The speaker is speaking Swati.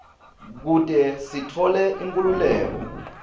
kute sitfole inkhululeko